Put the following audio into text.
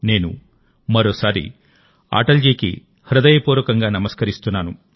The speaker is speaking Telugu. నేను మరోసారి అటల్ జీకి హృదయపూర్వకంగా నమస్కరిస్తున్నాను